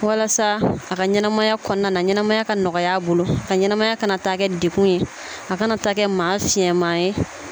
Walasa a ka ɲɛnamaya kɔnɔna na ɲɛnamaya ka nɔgɔya a bolo a ka ɲɛnamaya kana taa kɛ degun ye a kana taa kɛ maa fiyɛn ma ye.